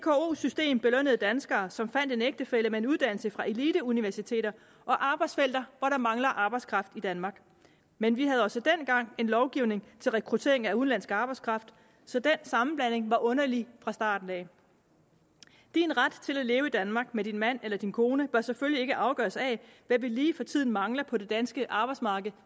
system belønnede danskere som fandt en ægtefælle med en uddannelse fra eliteuniversiteter og arbejdsfelter hvor der mangler arbejdskraft i danmark men vi havde også dengang en lovgivning til rekruttering af udenlandsk arbejdskraft så den sammenblanding var underlig fra starten af din ret til at leve i danmark med din mand eller din kone bør selvfølgelig ikke afgøres af hvad vi lige for tiden mangler på det danske arbejdsmarked